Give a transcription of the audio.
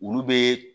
Olu bɛ